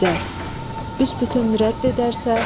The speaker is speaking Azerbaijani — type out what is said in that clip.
İzzət: Büsbütün rədd edərsə?